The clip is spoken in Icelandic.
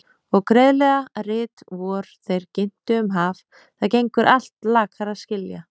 Og greiðlega rit vor þeir ginntu um haf- það gengur allt lakar að skilja.